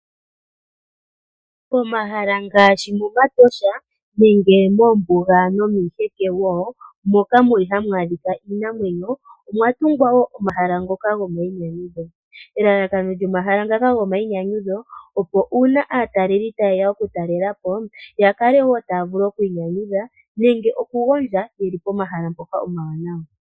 Pomahala ngaashi momatosha nenge moombuga nomiiheke wo, moka muli hamu adhika iinamwenyo, omwa tungwa wo omahala ngoka gomainyanyudho. Elalakano lyomahala ngaka gomainyanyudho, opo uuna aataleli taye ya oku talela po, ya kale wi taya vulu ikwiinyanyudha nenge oku gondja yeli pomahala ngoka gomainyanyudho.